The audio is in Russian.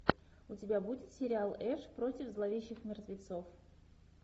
у тебя будет сериал эш против зловещих мертвецов